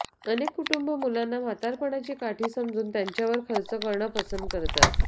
अनेक कुटुंब मुलांना म्हातारपणाची काठी समजून त्यांच्यावर खर्च करणं पसंत करतात